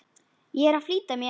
Ég er að flýta mér!